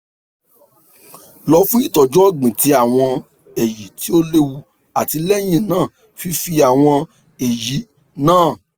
lọ fun itọju ọgbin ti awọn eyin ti o lewu ati lẹhinna fifi awọn eyin naa